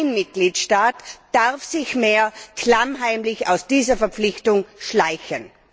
Kein Mitgliedstaat darf sich mehr klammheimlich aus dieser Verpflichtung schleichen.